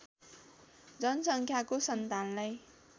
जनसङ्ख्याको सन्तानलाई